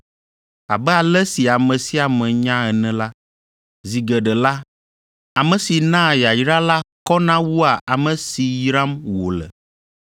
abe ale si ame sia ame nya ene la, zi geɖe la, ame si naa yayra la kɔna wua ame si yram wòle.